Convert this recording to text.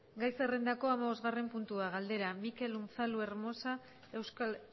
gai zerrendaren hamabostgarren puntua galdera mikel unzalu hermosa euskal